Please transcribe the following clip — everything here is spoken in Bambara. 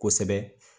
Kosɛbɛ